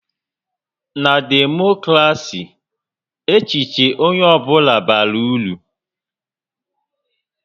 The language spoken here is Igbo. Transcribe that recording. Na Demokrasi, echiche onye ọ bụla bara uru